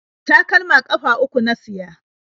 Takalma ƙafa uku na siya.